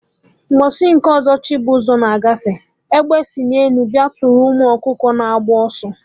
Mgbọsị nke ọzọ, Chibuzor na agafe, Egbe si n'elu bịa tụrụ ụmụ ọkụkọ na-agba ọsọ